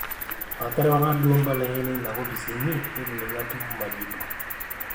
aterewaki duo mbalai ainei ina kopis inyi neitu ninye atum majibu